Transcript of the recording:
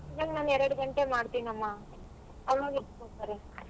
ಇವಾಗ್ ನಾನ್ ಎರ್ಡ್ ಗಂಟೆ ಮಾಡ್ತಿನಮ್ಮ. ಅವಾಗ್ ಎಷ್ಟ್ ಕೊಡ್ತಾರೆ?